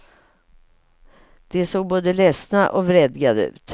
De såg både ledsna och vredgade ut.